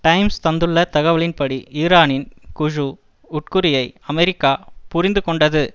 times தந்துள்ள தகவலின்படி ஈரானின் குழு உட்குறியை அமெரிக்கா புரிந்து கொண்டது